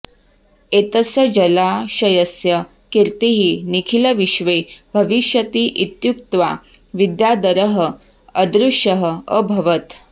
एतस्य जलाशयस्य कीर्तिः निखिलविश्वे भविष्यति इत्युक्त्वा विद्याधरः अदृश्यः अभवत्